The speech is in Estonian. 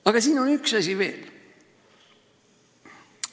Aga siin on üks asi veel.